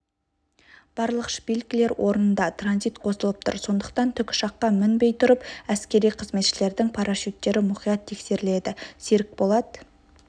барлық шпилькілер орнында транзит қосылып тұр сондықтан тікұшаққа мінбей тұрып әскери қызметшілердің парашюттері мұқият тексеріледі серікболат